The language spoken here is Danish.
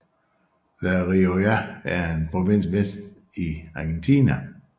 La Rioja er en provins vest i Argentina